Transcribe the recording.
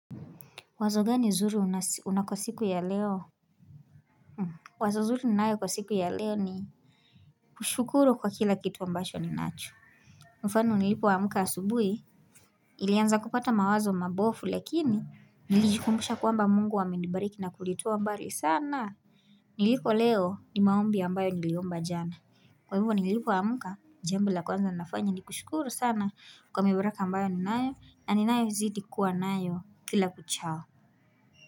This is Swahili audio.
Wazo gani zuri unako siku ya leo? Wazo zuri ninayo kwa siku ya leo ni kushukuru kwa kila kitu ambacho ninacho. Mfano nilipoamka asubuhi nilianza kupata mawazo mabofu lakini nilijikumbusha kuamba mungu amenibariki na kunitoa mbali sana. Niliko leo ni maombi ambayo niliomba jana. Kwa hivyo nilipoamka jambo la kwanza nafanya ni kushukuru sana kwa mibaraka ambayo ninayo na ninayo zidi kuwa nayo kila kuchao.